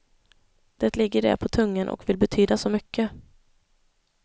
Det ligger där på tungan och vill betyda så mycket.